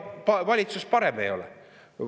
Ega valitsus parem ei ole.